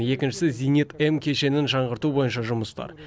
екіншісі зенит м кешенін жаңғырту бойынша жұмыстар